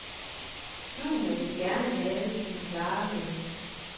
Junior vil gerne have din klare melding.